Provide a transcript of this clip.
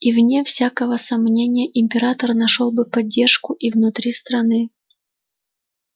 и вне всякого сомнения император нашёл бы поддержку и внутри страны